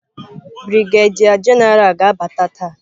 Brigadier general ga-abata taa.